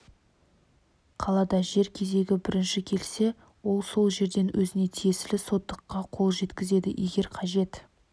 қалада жер кезегі бірінші келсе ол сол жерден өзіне тиесілі сотыққа қол жеткізеді егер қажет